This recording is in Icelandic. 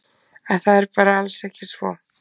En það er bara alls ekki svo.